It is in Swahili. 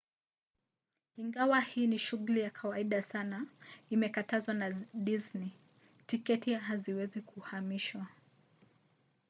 ingawa hii ni shughuli ya kawaida sana imekatazwa na disney: tiketi haziwezi kuhamishwa